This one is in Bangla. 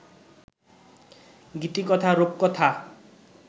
গীতিকথা-রূপকথা